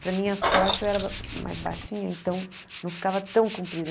Para a minha sorte, eu era mais baixinha, então não ficava tão comprida.